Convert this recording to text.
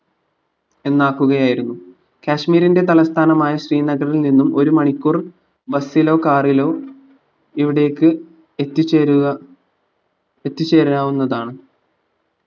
എന്നാക്കുകയായിരുന്നു കശ്മീരിന്റെ തലസ്ഥാനമായ ശ്രീനഗറിൽ നിന്നും ഒരു മണിക്കൂർ bus ലോ car ലോ ഇവിടേക്ക് എത്തിച്ചേരുക എത്തിച്ചേരാവുന്നതാണ്